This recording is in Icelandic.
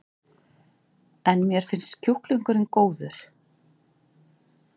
En: Mér finnst kjúklingurinn góður?